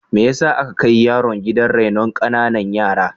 Me yasa aka kai yaron gidan rainon ƙananan yara?